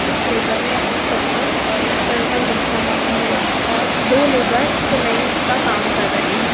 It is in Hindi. एक लेबर ने अपने सर पर ऑरेंज कलर का गमछा बांधा हुआ है और दो लेबर सीमेंट का काम कर रहे हैं।